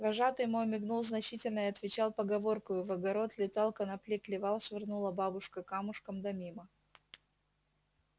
вожатый мой мигнул значительно и отвечал поговоркою в огород летал конопли клевал швырнула бабушка камушком да мимо